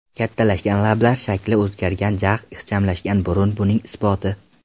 Kattalashgan lablar, shakli o‘zgargan jag‘, ixchamlashgan burun buning isboti.